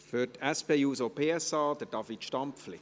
Für die SP-JUSO-PSA, David Stampfli.